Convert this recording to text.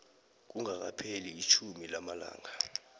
kungakapheli itjhumi lamalanga